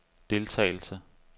deltagelse